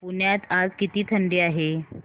पुण्यात आज किती थंडी आहे